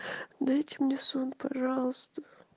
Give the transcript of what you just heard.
дайте мне сон пожалуйста